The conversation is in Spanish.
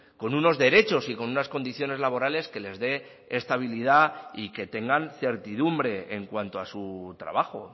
con unos derechos y con unas condiciones laborales que les dé estabilidad y que tengan certidumbre en cuanto a su trabajo